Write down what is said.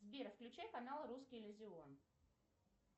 сбер включай канал русский иллюзион